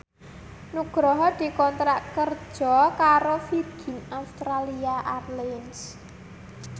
Nugroho dikontrak kerja karo Virgin Australia Airlines